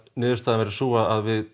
niðurstaðan verður sú að við